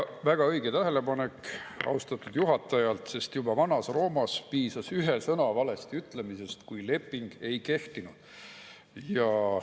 Väga õige tähelepanek austatud juhatajalt, sest juba vanas Roomas piisas ühe sõna valesti ütlemisest, et leping ei kehtiks.